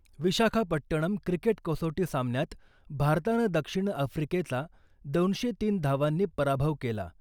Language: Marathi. विशाखापट्टणम क्रिकेट कसोटी सामन्यात भारतानं दक्षिण आफ्रिकेचा दोनशे तीन धावांनी पराभव केला .